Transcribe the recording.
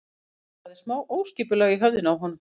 Það er smá óskipulag í höfðinu á honum.